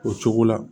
O cogo la